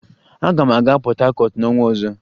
Aga m aga Port Harcourt n'ọnwa ọzọ